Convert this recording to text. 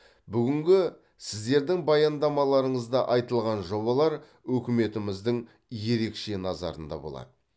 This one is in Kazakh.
бүгінгі сіздердің баяндамаларыңызда айтылған жобалар үкіметіміздің ерекше назарында болады